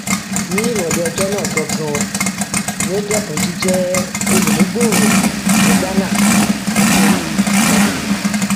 ní ìrọlẹ ọjọ náà ganan ni ó dẹkun jíjẹ olùmúgbòòrò ní ghánà nítorí ìjákulẹ